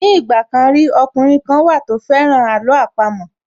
Ní ìgbà kan rí, ọkùnrin kan wà tó fẹ́ràn àló àpamọ́